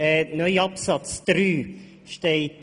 Im neuen Absatz 3 steht: